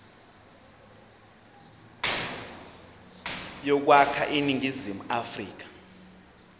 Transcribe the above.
yokwakha iningizimu afrika